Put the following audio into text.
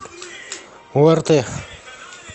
орт